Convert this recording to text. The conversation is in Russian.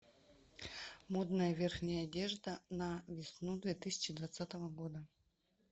модная верхняя одежда на весну две тысячи двадцатого года